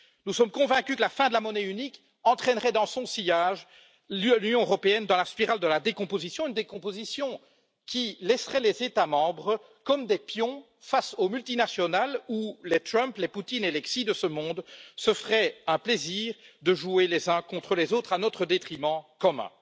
Nous sommes convaincus que la fin de la monnaie unique entraînerait dans son sillage l'Union européenne dans la spirale de la décomposition, décomposition qui laisserait les États membres comme des pions face aux multinationales, dans une situation où les Trump, les Poutine ou les Xi de ce monde se feraient un plaisir de monter les uns contre les autres à notre détriment commun.